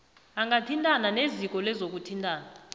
angathintana neziko lezokuthintana